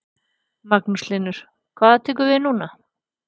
Magnús Hlynur: Hvað tekur núna við?